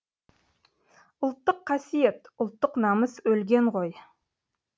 ұлттық қасиет ұлттық намыс өлген ғой